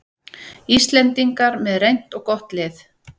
Íslendingar með reynt og gott lið